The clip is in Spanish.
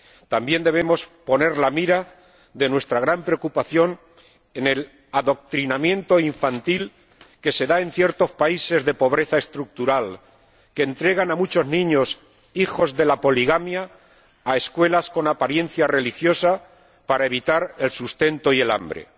También debemos poner la mira de nuestra gran preocupación en el adoctrinamiento infantil que se da en ciertos países de pobreza estructural que entregan a muchos niños, hijos de la poligamia, a escuelas con apariencia religiosa para evitar la falta de sustento y el hambre.